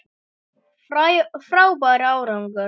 Frábær árangur